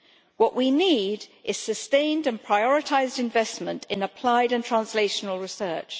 What we need is sustained and prioritised investment in applied and translational research.